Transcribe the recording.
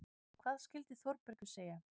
Hvað skyldi Þórbergur segja?